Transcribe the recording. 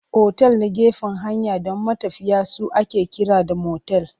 Otal na gefen hanya don matafiya su ake kira da motel.